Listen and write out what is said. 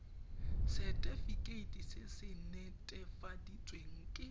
setefikeiti se se netefaditsweng ke